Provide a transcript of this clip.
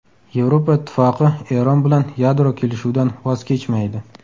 Yevropa Ittifoqi Eron bilan yadro kelishuvidan voz kechmaydi.